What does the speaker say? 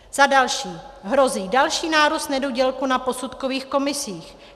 Za další hrozí další nárůst nedodělků na posudkových komisích.